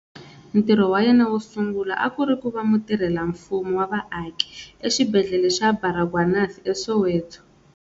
Ntirho wa yena wo sungula a ku ri ku va mutirhela-mfumo wa vaaki exibedhlele xa Baragwanath eSoweto.